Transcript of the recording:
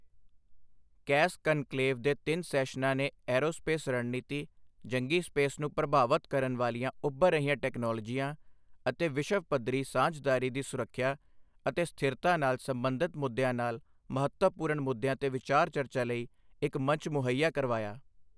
Cash conclave ਦੇ ਤਿੰਨ ਸੈਸ਼ਨਾਂ ਨੇ ਐਰੋਸਪੇਸ ਰਣਨੀਤੀ, ਜੰਗੀ ਸਪੇਸ ਨੂੰ ਪ੍ਰਭਾਵਤ ਕਰਨ ਵਾਲੀਆਂ ਉੱਭਰ ਰਹੀਆਂ ਟੈਕਨੋਲੋਜੀਆਂ ਅਤੇ ਵਿਸ਼ਵ ਪੱਧਰੀ ਸਾਂਝਦਾਰੀ ਦੀ ਸੁਰੱਖਿਆ ਅਤੇ ਸਥਿਰਤਾ ਨਾਲ ਸੰਬੰਧਤ ਮੁੱਦਿਆਂ ਨਾਲ ਮਹੱਤਵਪੂਰਨ ਮੁੱਦਿਆਂ ਤੇ ਵਿਚਾਰ ਚਰਚਾ ਲਈ ਇਕ ਮੰਚ ਮੁੱਹਈਆ ਕਰਵਾਇਆ।